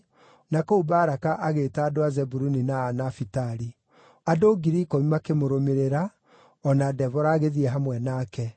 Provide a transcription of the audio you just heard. na kũu Baraka agĩĩta andũ a Zebuluni na a Nafitali. Andũ 10,000 makĩmũrũmĩrĩra, o na Debora agĩthiĩ hamwe nake.